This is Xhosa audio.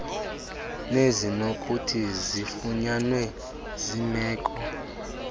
nezinokuthi zifunyanwe zimeko